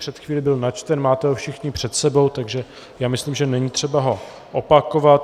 Před chvílí byl načten, máte ho všichni před sebou, takže si myslím, že není třeba ho opakovat.